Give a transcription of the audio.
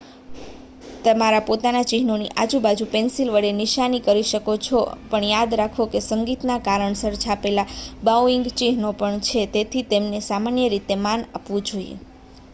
તમારા પોતાના ચિહ્નોની આજુબાજુ પેન્સિલ વડે નિશાની કરી શકો છો પણ યાદ રાખો કે સંગીતના કારણસર છાપેલા બાઉઇંગ ચિહ્નો પણ છે તેથી તેમને સામાન્ય રીતે માન આપવું જોઈએ